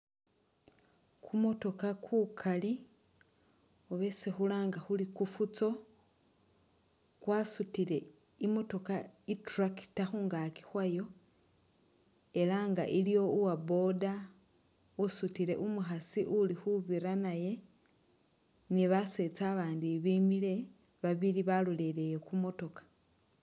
Kumutokha kukali oba esi khulanga khuri kufuso kwasutile i'motokha i'tractor khungaaki khwayo ela nga iliwo ni uwa boda usutile umukhasi uli khubira naye ni basetsa abandi abimile babili balolelele ku motoka.